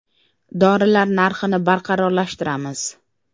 Dorilar narxini barqarorlashtiramiz.